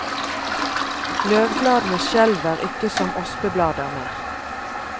Løvbladene skjelver ikke som ospeblader mer.